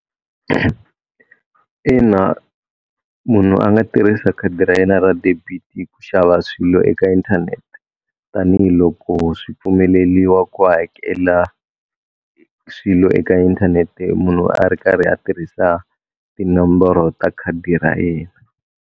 Ina munhu a nga tirhisa khadi ra yena ra debit ku xava swilo eka inthanete tanihiloko swi pfumeleliwa ku hakela swilo eka inthanete munhu a ri karhi a tirhisa tinomboro ta khadi ra yena.